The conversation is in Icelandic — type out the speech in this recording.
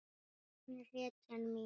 Hann er hetjan mín.